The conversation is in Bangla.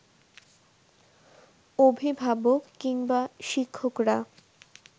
অভিভাবক কিংবা শিক্ষকরা